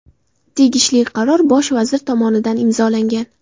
Tegishli qaror bosh vazir tomonidan imzolangan.